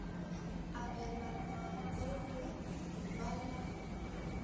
abelanwa le go ba la